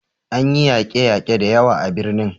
An yi yake yake da yawa a birnin